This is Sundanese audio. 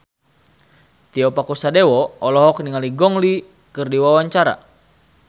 Tio Pakusadewo olohok ningali Gong Li keur diwawancara